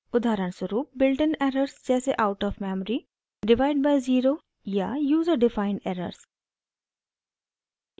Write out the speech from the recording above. उदाहरणस्वरूप built in errors जैसे out of memory divide by zero या यूज़र डिफाइंड एरर्स